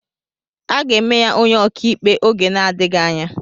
Aga eme ya onye ọkàikpe oge na-adịghị anya.